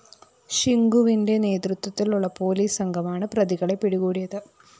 ഷിങ്കുവിന്റെ നേതൃത്വത്തിലുള്ള പോലീസ് സംഘമാണ് പ്രതികളെ പിടികൂടിയത്